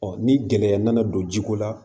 ni gɛlɛya nana don jiko la